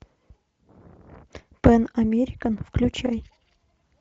пэн американ включай